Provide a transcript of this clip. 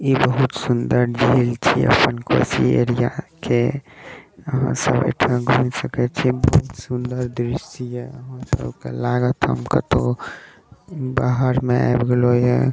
ई बहुत सुन्दर झील छीये अपन कोसी एरिया के अहां सब एठा घूम सके छीये बहुत सुन्दर दृश्य ये अहां सबके लागत कोनो बाहर मे आब गेलो ये ।